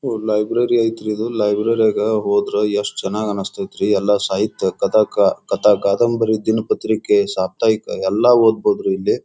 ಒಹ್ library ಅಯ್ತ್ರಿ ಇದು. Library ಯಾಗ ಹೋದ್ರ ಎಷ್ಟ್ ಚೆನ್ನಾಗ್ ಅನ್ಸ್ತಾಯಿತ್ರಿ. ಎಲ್ಲಾ ಸಾಹಿತ್ಯ ಕತಾ ಕತಾ ಕಾದಂಬರಿ ದಿನ ಪತ್ರಿಕೆ ಸಾಪ್ತಾಹಿಕ ಎಲ್ಲ ಓದ್ಬಹುದು ರೀ ಇಲ್ಲಿ.